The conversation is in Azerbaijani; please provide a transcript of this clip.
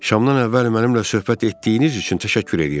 Şamdan əvvəl mənimlə söhbət etdiyiniz üçün təşəkkür eləyirəm.